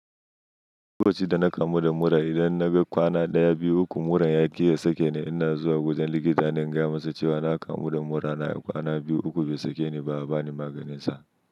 Ko ci da na kamu da mura, idan na ga kwana ɗaya, biyu, uku mura ya ƙi ya sake ni, ina zuwa wajen likita na gaya masa cewa na kamu da mura na kwana biyu, uku bai sake ni ba, ya ba ni maganin sa.